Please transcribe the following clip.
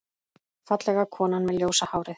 Fallega konan með ljósa hárið.